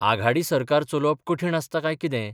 आघाडी सरकार चलोवप कठीण आसता कांय कितें ?